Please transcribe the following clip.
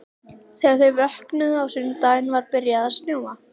Þegar þau vöknuðu á sunnudeginum var byrjað að snjóa.